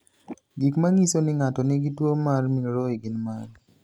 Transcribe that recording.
Gik manyiso ni ng'ato nigi tuwo mar Milroy gin mage?